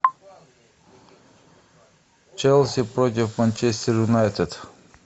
челси против манчестер юнайтед